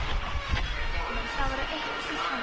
Nei börnin mín, það voru ekki peningar.